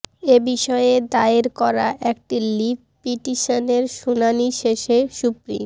এ বিষয়ে দায়ের করা একটি লিভ পিটিশনের শুনানি শেষে সুপ্রিম